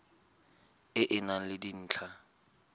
e e nang le dintlha